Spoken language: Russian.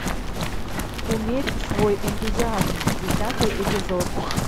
умерь свой энтузиазм десятый эпизод